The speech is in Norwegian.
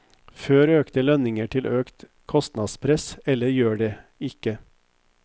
Fører økte lønninger til økt kostnadspress, eller gjør det ikke?